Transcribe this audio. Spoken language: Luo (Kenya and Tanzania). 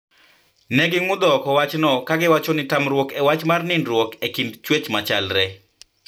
Ne ging`udho oko wachno ka giwacho ni tamruok e wach mar nidruok e kind chwech machalre